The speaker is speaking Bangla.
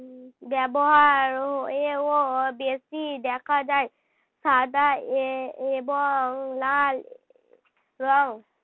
ব্যবহার হয়েও বেশি দেখা যায় সাদা এ~ এবং লাল রং।